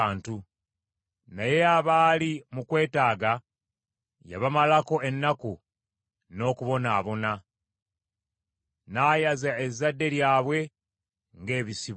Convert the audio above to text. Naye abaali mu kwetaaga yabamalako ennaku n’okubonaabona, n’ayaza ezzadde lyabwe ng’ebisibo.